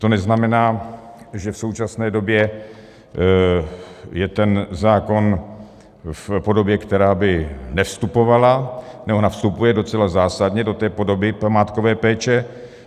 To neznamená, že v současné době je ten zákon v podobě, která by nevstupovala - ona vstupuje docela zásadně do té podoby památkové péče.